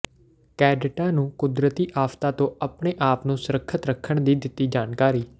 ਕੈਡਿਟਾਂ ਨੂੰ ਕੁਦਰਤੀ ਆਫ਼ਤਾਂ ਤੋਂ ਆਪਣੇ ਆਪ ਨੂੰ ਸੁਰੱਖਿਅਤ ਰੱਖਣ ਦੀ ਦਿੱਤੀ ਜਾਣਕਾਰੀ